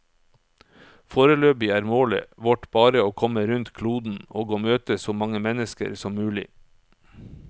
Foreløpig er målet vårt bare å komme rundt kloden, og å møte så mange mennesker som mulig.